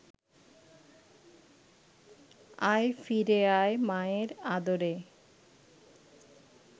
আয় ফিরে আয় মায়ের আদরে